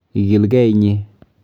Igilgee inye.